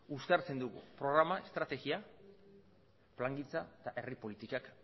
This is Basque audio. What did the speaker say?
uztartzen du programak estrategia plangintza eta herri politikak